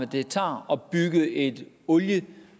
det tager at bygge et olie